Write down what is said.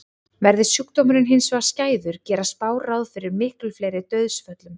Verði sjúkdómurinn hins vegar skæður gera spár ráð fyrir miklu fleiri dauðsföllum.